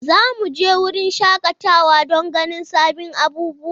Za mu je wurin shakatawa don ganin sabbin abubuwa.